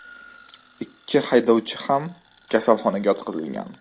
Ikki haydovchi ham kasalxonaga yotqizilgan.